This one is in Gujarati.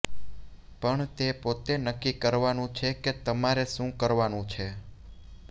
પણ તે પોતે નક્કી કરવાનુ છે કે તમારે શુ કરવાનુ છે